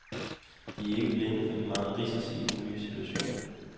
De er ikke blinde for de mange risici i den nye situation.